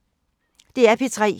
DR P3